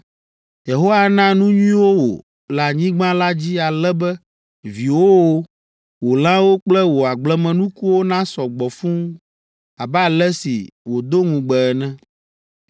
“Yehowa ana nu nyuiwo wò le anyigba la dzi ale be viwòwo, wò lãwo kple wò agblemenukuwo nasɔ gbɔ fũu abe ale si wòdo ŋugbe ene.